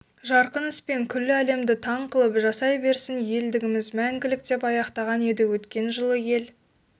жарқын іспен күллі әлемді таң қылып жасай берсін елдігіміз мәңгілік деп аяқтаған еді өткен жылы ел